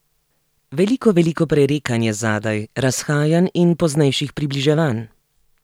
Veliko veliko prerekanj je zadaj, razhajanj in poznejših približevanj.